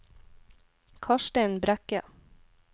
Karstein Brekke